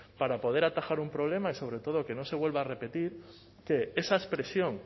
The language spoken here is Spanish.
para poder atajar un problema y sobre todo que no se vuelva a repetir que esa expresión